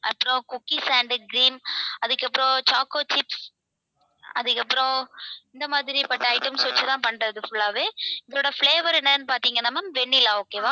அப்புறம் cookie sandwich cream அதுக்கப்புறம் choco chips அதுக்கப்புறம் இந்த மாதிரி பட்ட items வச்சுதான் பண்றது full ஆவே. இதோட flavour என்னன்னு பாத்தீங்கன்னா ma'am vanilla okay வா